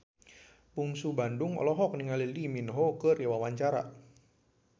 Bungsu Bandung olohok ningali Lee Min Ho keur diwawancara